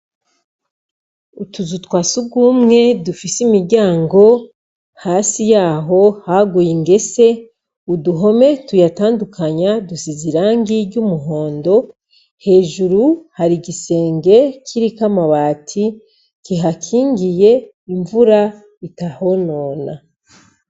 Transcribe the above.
Utuzu twa Sugumwe dufise imiryango hasi yaho haguye ingese ,uduhome tuyatandukanya dusize irangi ry'umuhondo, hejuru hari igisenge kiriko amabati kihakingiye imvura itahonona.